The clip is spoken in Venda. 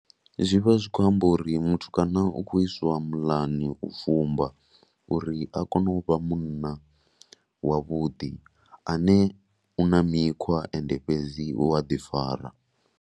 Zwi vha zwi khou amba uri mutukana u khou iswa muḽani u fumba uri a kone u vha munna wavhuḓi ane u na mikhwa and fhedzi u a ḓifara.